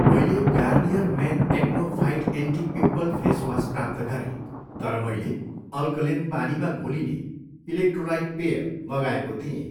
मैले Garnier men acno fight anti pimple face wash प्राप्त गरेँ तर मैले अल्कलेन पानीमा घोलिने इलेक्ट्रोलाइट पेय मगाएको थिएँ।